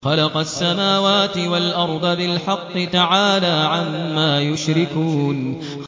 خَلَقَ السَّمَاوَاتِ وَالْأَرْضَ بِالْحَقِّ ۚ تَعَالَىٰ عَمَّا يُشْرِكُونَ